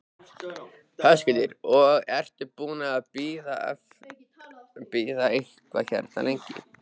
Höskuldur: Og ertu búinn að bíða eitthvað hérna lengi?